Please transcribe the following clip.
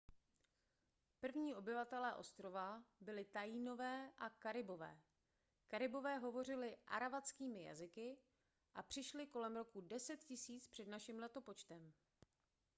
první obyvatelé ostrova byli taínové a karibové karibové hovořili aravackými jazyky a přišli kolem roku 10 000 př n l